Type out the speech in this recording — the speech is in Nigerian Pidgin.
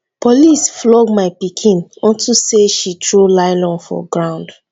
police flog my pikin unto say she throw nylon for ground